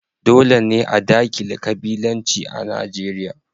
Dole ne a dakile ƙabilanci a Nijeriya.